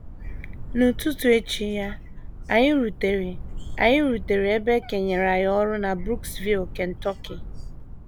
N’ụtụtụ echi ya, anyị rutere, anyị rutere ebe e kenyere anyị ọrụ na Brooksville, Kentucky.